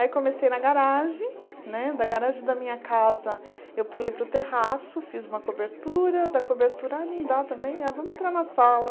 Aí comecei na garagem, né da garagem da minha casa eu pulei para o terraço, fiz uma cobertura, da cobertura ah não dá também, ah vamos entrar na sala.